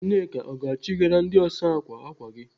Nneka ọ ga-achịgara ndị ọsa ákwà ákwà gị?